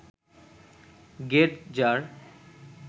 গেটজার